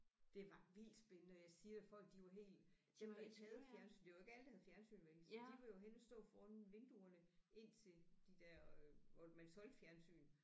Det var vildt spændende og jeg siger dig folk de var helt dem der ikke havde fjernsyn det var jo ikke alle der havde fjernsyn vel så de var jo henne at stå foran vinduerne ind til de der hvor man solgte fjernsyn